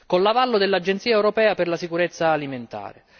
con l'avallo dell'agenzia europea per la sicurezza alimentare.